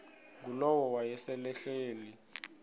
ngulowo wayesel ehleli